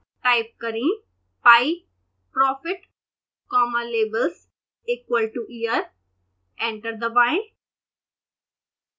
type करें pieprofit comma labels equal to year enter दबाएं